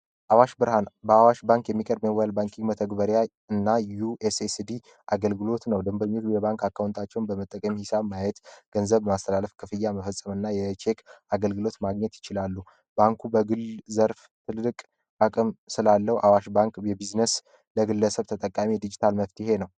አዋሽ ብርሃን በአዋሽ ባንክ የሚቀርብ የሞባይል ባንኪንግ መተግበሪያ እና ዩ የስየስ ዲ አገልግሎት ነው። ድንብርኞች የባንክ አካሁንታቸውን በመጠቀሚ ሂሳብ ማየት ገንዘብ ማስተላለፍ ክፍያ መፈጸም ና የቼክ አገልግሎት ማግኘት ይችላሉ። ባንኩ በግል ዘርፍ ትልድቅ አቀም ስላለው አዋሽ ባንክ የቢዝነስ ለግለሰብ ተጠቃሚ ዲጂታል መፍቲሄ ነው።